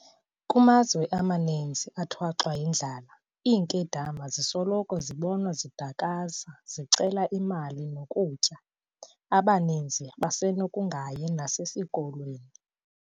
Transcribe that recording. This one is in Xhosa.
Kumazwe maninzi athwaxwa yindlala iinkedama zisoloko zibonwa zidwakasa zicela zicela amalizo e-mali nokutya, abaninzi basenokungayi nasesikolweni.